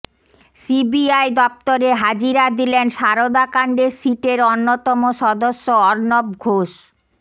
CBI দফতরে হাজিরা দিলেন সারদাকাণ্ডে সিটের অন্যতম সদস্য অর্ণব ঘোষ